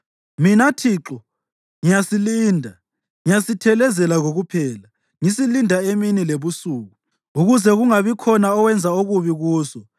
Mina Thixo, ngiyasilinda; ngiyasithelezela kokuphela. Ngisilinda emini lebusuku ukuze kungabikhona owenza okubi kuso.